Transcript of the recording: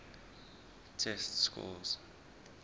test scores